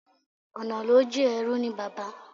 Ọ̀nà ló jìn-in, ẹrú ní bàbá.